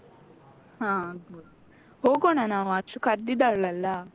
ಹಾ ಆಗ್ಬೋದು. ಹೋಗೋಣ ನಾವು ಅಷ್ಟು ಕರ್ದ್ದಿದ್ದಾಳಲ್ಲ.